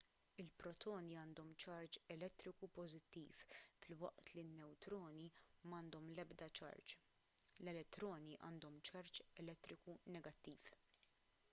il-protoni għandhom ċarġ elettriku pożittiv filwaqt li n-newtroni m'għandhom l-ebda ċarġ l-elettroni għandhom ċarġ elettriku negattiv